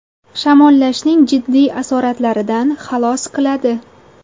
Shamollashning jiddiy asoratlaridan xalos qiladi.